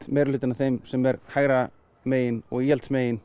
meirihlutinn af þeim sem eru hægra megin og